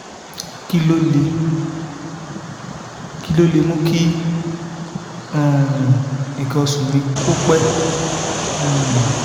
kí ló lè kí ló lè mú kí um nkan oṣu mi kó pẹ́? um